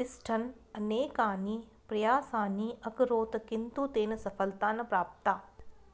तिष्ठन् अनेकानि प्रयासानि अकरोत् किन्तु तेन सफलता न प्रप्ता